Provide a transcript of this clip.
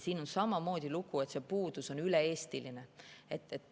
Siin on sama lugu, et see puudus on üle-eestiline.